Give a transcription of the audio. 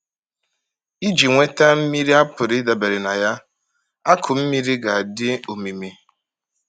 Iji nweta mmiri a pụrụ ịdabere na ya, akụ mmiri ga-adị omimi.